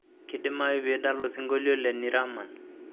kidimayu piidala osingolio le ni rahman